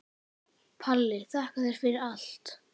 Palli, þakka þér fyrir allt.